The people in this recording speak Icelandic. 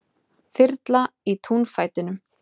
Þyrla í túnfætinum